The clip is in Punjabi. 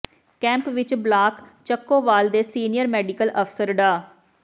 ਕੈਂਪ ਵਿੱਚ ਬਲਾਕ ਚੱਕੋਵਾਲ ਦੇ ਸੀਨੀਅਰ ਮੈਡੀਕਲ ਅਫਸਰ ਡਾ